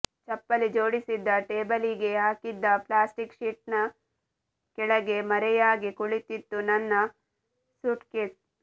ಚಪ್ಪಲಿ ಜೋಡಿಸಿದ್ದ ಟೇಬಲಿಗೆ ಹಾಕಿದ್ದ ಪ್ಲಾಸ್ಟಿಕ್ ಶೀಟ್ನ ಕೆಳಗೆ ಮರೆಯಾಗಿ ಕುಳಿತಿತ್ತು ನನ್ನ ಸೂಟ್ಕೇಸ್